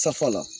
Safa la